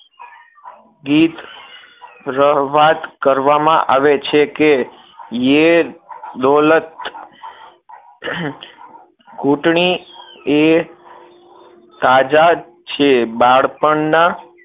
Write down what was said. ગીત રહવાદ કરવામાં આવે છે કે યે દૌલત કુટણીએ તાજા છે એ બાળપણના